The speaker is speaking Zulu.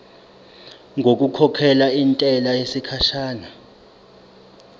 ngokukhokhela intela yesikhashana